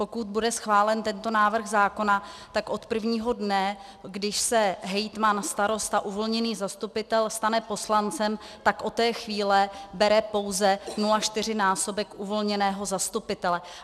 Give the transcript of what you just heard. Pokud bude schválen tento návrh zákona, tak od prvního dne, když se hejtman, starosta, uvolněný zastupitel stane poslancem, tak od té chvíle bere pouze 0,4násobek uvolněného zastupitele.